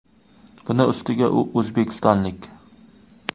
Buning ustiga u o‘zbekistonlik.